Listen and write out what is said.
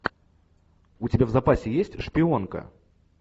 у тебя в запасе есть шпионка